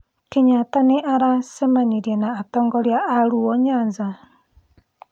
Kenyatta nĩ aracemanirie na atongoria a Luo Nyanza.